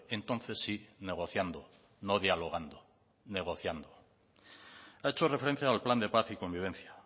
entonces sí negociando no dialogando negociando ha hecho referencia al plan de paz y convivencia